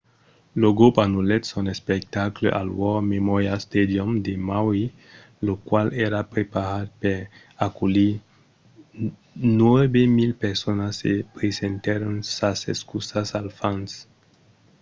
lo grop anullèt son espectacle al war memorial stadium de maui lo qual èra preparat per aculhir 9 000 personas e presentèron sas excusas als fans